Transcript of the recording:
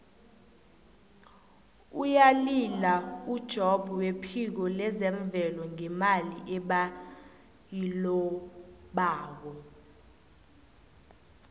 uyalila ujobb wephiko lezemvelo ngemali ebayilobako